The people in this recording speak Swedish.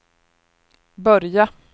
börja